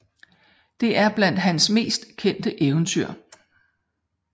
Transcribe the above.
Det er blandt hans mest kendte eventyr